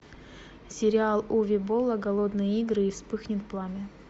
сериал уве болла голодные игры и вспыхнет пламя